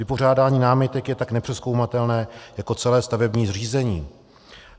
Vypořádání námitek je tak nepřezkoumatelné jako celé stavební řízení.